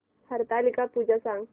हरतालिका पूजा सांग